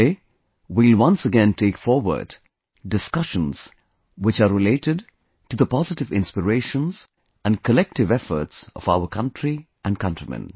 Today we will once again take forward discussions which are related to the positive inspirations and collective efforts of our country and countrymen